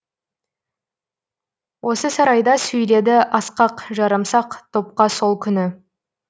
осы сарайда сөйледі асқақ жарамсақ топқа сол күні